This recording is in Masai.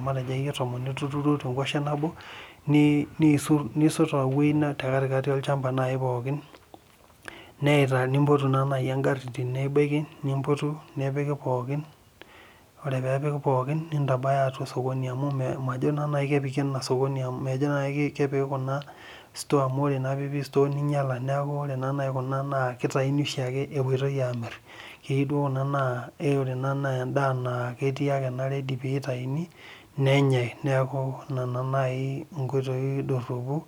matejo akeyie tomon ituturuo te wueji nebo, nisot te katikati olchampa naaji pookin. nimpotubegari, nepiki pookin. ore peepiki pookn osokoni amu ore naa piipik pookin.